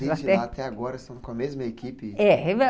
Desde lá até agora estão com a mesma equipe.